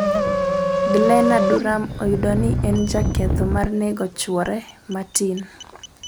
Glenna Duram oyudi ni en jaketho mar nego chwore Martin